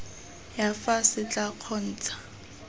ya fa se tla kgontsha